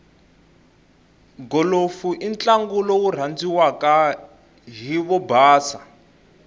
golofu intlangu lowurandziwaka hhivobhasa